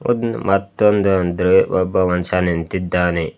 ಮತ್ತೊಂದ್ ಅಂದ್ರೆ ಒಬ್ಬ ಮನುಷ್ಯ ನಿಂತಿದ್ದಾನೆ.